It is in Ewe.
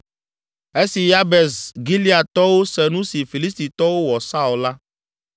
Esi Yabes Gileadtɔwo se nu si Filistitɔwo wɔ Saul la,